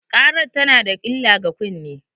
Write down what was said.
ƙarar tana da illah ga kunne.